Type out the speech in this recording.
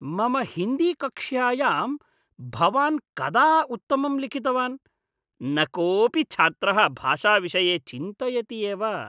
मम हिन्दीकक्ष्यायां भवान् कदा उत्तमं लिखितवान्? न कोपि च्छात्रः भाषाविषये चिन्तयति एव।